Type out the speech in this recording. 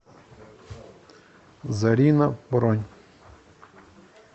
зарина бронь